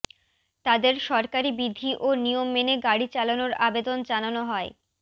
তাদের সরকারি বিধি ও নিয়ম মেনে গাড়ি চালানোর আবেদন জানানো হয়